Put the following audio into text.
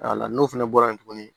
n'o fana bɔra yen tuguni